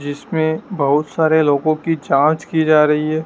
जिसमें बहुत सारे लोगों की जांच की जा रही है।